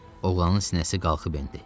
Oğlanın sinəsi qalxıb endi.